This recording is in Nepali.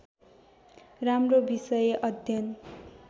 राम्रो विषय अध्ययन